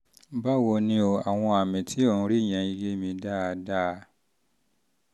báwo ni o? àwọn àmì tí ò ń rí yé mi dáadáa